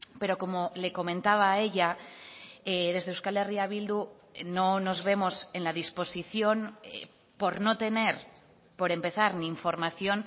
pero como le comentaba a ella desde euskal herria bildu no nos vemos en la disposición por no tener por empezar ni información